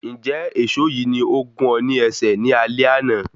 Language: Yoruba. Njẹ èsó yìí ni o gún ọ ní ẹsẹ̀ ní alé àna?